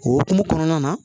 O hukumu kɔnɔna na